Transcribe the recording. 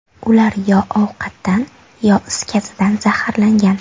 Ular yo ovqatdan, yo is gazidan zaharlangan.